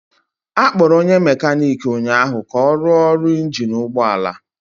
Akpọrọ onye mekaniki ụnyahụ ka ọ rụọ ọrụ injin ụgbọ ala